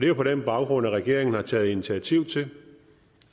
jo på den baggrund at regeringen har taget initiativ til